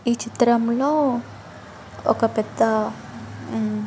ఈ చిత్రం లో ఒక పెద్ద హ్మ్--